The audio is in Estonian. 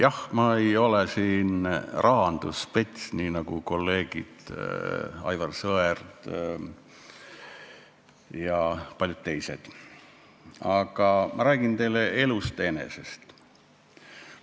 Jah, ma ei ole siin rahandusspets nii nagu kolleegid Aivar Sõerd ja paljud teised, aga ma räägin teile elust enesest.